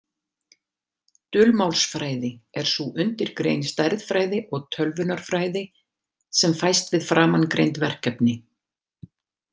Dulmálsfræði er sú undirgrein stærðfræði og tölvunarfræði sem fæst við framangreind verkefni.